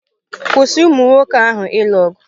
Kwụsị umụ nwoke ahụ ịlụ ọgụ!